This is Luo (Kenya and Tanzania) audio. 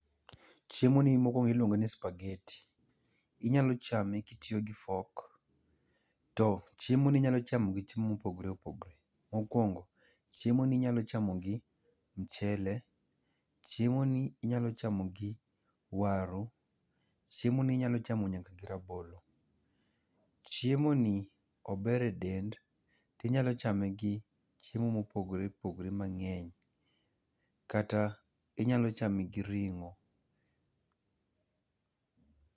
Chiemoni mokuongo iluongo ni spaghetti, inyalo chame kitiyo gi fork to chiemo ni inyalo chamo gi chiemo mopogore opogore, mokuongo chiemoni inyalo chamo gi mchele, chiemo niinyalo chamo gi waru, chiemo ni inyalo chamo nyaka gi rabolo. Chiemo ni ober e del to inyalo chame gi chiemo mopogor eopogore mangeny kata inyalo chame gi ringo.